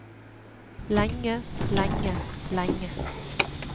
lenge lenge lenge